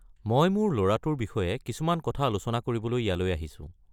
মই মোৰ ল'ৰাটোৰ বিষয়ে কিছুমান কথা আলোচনা কৰিবলৈ ইয়ালৈ আহিছোঁ।